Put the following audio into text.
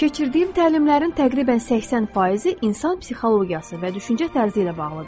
Keçirdiyim təlimlərin təqribən 80%-i insan psixologiyası və düşüncə tərzi ilə bağlıdır.